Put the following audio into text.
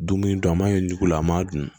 Dumuni to a ma ɲi dugu la an m'a dun